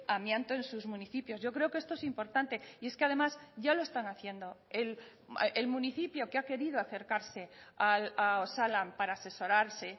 amianto en sus municipios yo creo que esto es importante y es que además ya lo están haciendo el municipio que ha querido acercarse a osalan para asesorarse